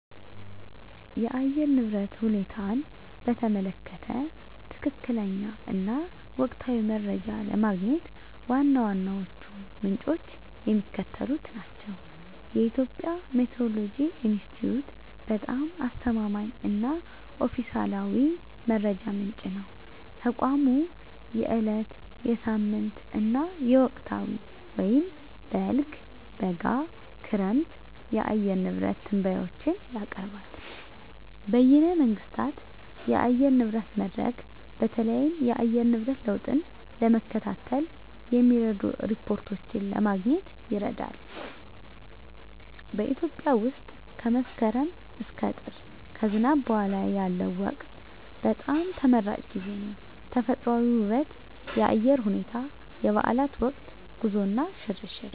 የአየር ንብረት ሁኔታን በተመለከተ ትክክለኛ እና ወቅታዊ መረጃ ለማግኘት ዋና ዋናዎቹ ምንጮች የሚከተሉት ናቸው -የኢትዮጵያ ሜትዎሮሎጂ ኢንስቲትዩት በጣም አስተማማኝ እና ኦፊሴላዊ መረጃ ምንጭ ነው። ተቋሙ የዕለት፣ የሳምንት እና የወቅታዊ (በልግ፣ በጋ፣ ክረምት) የአየር ንብረት ትንበያዎችን ያቀርባል። -በይነ መንግሥታት የአየር ንብረት መድረክ: በተለይም የአየር ንብረት ለውጥን ለመከታተል የሚረዱ ሪፖርቶችን ለማግኘት ይረዳል። -በኢትዮጵያ ውስጥ ከመስከረም እስከ ጥር (ከዝናብ በኋላ ያለው ወቅት) በጣም ተመራጭ ጊዜ ነው። -ተፈጥሮአዊ ውበት -የአየር ሁኔታ -የበዓላት ወቅት -ጉዞ እና ሽርሽር